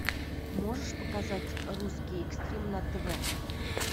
можешь показать русский экстрим на тв